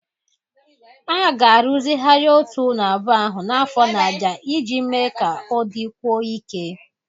A ga-arụzigharị Otu ụlọ abụọ ahụ n'afọ na-abịa iji mee ka ọ dịkwuo ike